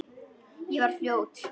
Ég var fljót.